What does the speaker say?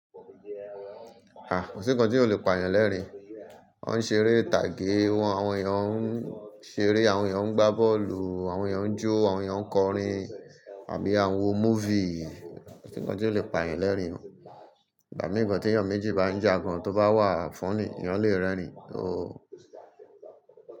Ah! Kosi nǹkan tí o lè pààyàn lẹ́rìn-ín. Wọ́n ń ṣeré ìtàgé, àwọn èèyàn ń ṣeré, àwọn èèyàn ń gbá bọ́ọ̀lù, àwọn èèyàn ń jó, àwọn èèyàn ń kọrin àbí awo múfì. Kọ̀sí nǹkan tí o lè pààyàn lẹ́rìn-ín. Ìgbà mìíràn tí èèyàn méjì bá ń jà gan-an, tó bá wà fónì, èèyàn le rẹ́rìn-ín o.